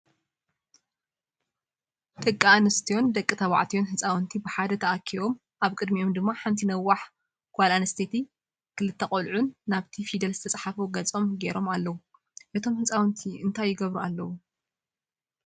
ደቂ አንስትዮን ደቂ ተባዕትዮን ህፃውንቲ ብሓደ ተኣኪቦምኣብ ቅዲሚኦም ድማ ሓንቲ ነዋሕ ጎል ኣንስትየቲን ክልተ ቆልዕትን ናብቲ ፍደል ዝተፅሓፎ ገፆም ገይሮም ኣለው። እቶም ህፃውንቲ እንታይ ይገብሩ ኣለው?